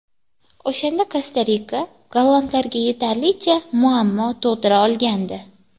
O‘shanda Kosta-Rika gollandlarga yetarlicha muammo tug‘dira olgandi.